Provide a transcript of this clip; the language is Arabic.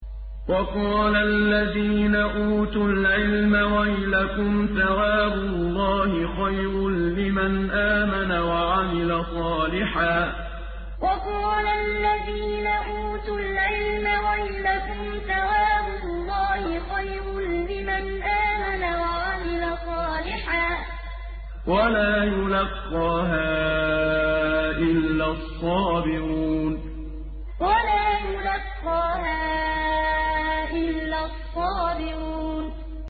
وَقَالَ الَّذِينَ أُوتُوا الْعِلْمَ وَيْلَكُمْ ثَوَابُ اللَّهِ خَيْرٌ لِّمَنْ آمَنَ وَعَمِلَ صَالِحًا وَلَا يُلَقَّاهَا إِلَّا الصَّابِرُونَ وَقَالَ الَّذِينَ أُوتُوا الْعِلْمَ وَيْلَكُمْ ثَوَابُ اللَّهِ خَيْرٌ لِّمَنْ آمَنَ وَعَمِلَ صَالِحًا وَلَا يُلَقَّاهَا إِلَّا الصَّابِرُونَ